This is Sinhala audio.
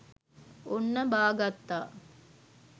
ඔන්න බා ගත්තා